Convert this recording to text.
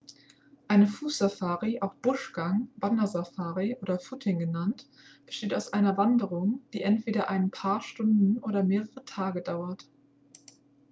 eine fußsafari auch buschgang wandersafari oder footing genannt besteht aus einer wanderung die entweder ein paar stunden oder mehrere tage dauert